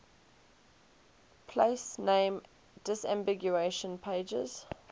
place name disambiguation pages